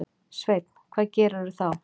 Sveinn: Hvað gerirðu þá?